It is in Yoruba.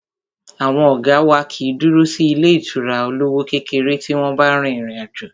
Àwọn ọ̀gá wá kìí dúró sí ilé ìtura olówó kékeré tí wọ́n bá rin ìrìn àjò.